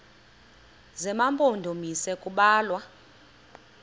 zema mpondomise kubalwa